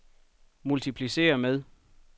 multipliceret med